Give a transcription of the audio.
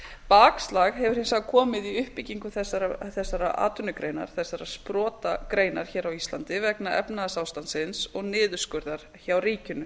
bakslag hefur hins vegar komið í uppbyggingu þessarar atvinnugreinar þessarar sprotagreinar hér á íslandi vegna efnahagsástandsins og niðurskurðar hjá ríkinu